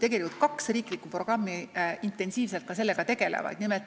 Jah, kaks riiklikku programmi tegelevad intensiivselt ka sellega.